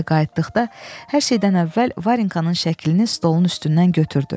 Evə qayıtdıqda hər şeydən əvvəl Varenkanın şəklini stolun üstündən götürdü.